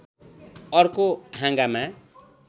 अर्को हाँगामा